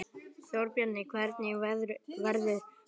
Þórbjarni, hvernig verður veðrið á morgun?